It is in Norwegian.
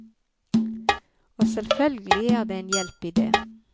Og selvfølgelig er det en hjelp i det.